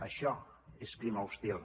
això és clima hostil